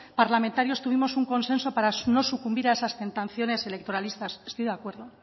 parlamentarios tuvimos un consenso para no sucumbir a esas tentaciones electoralistas estoy de acuerdo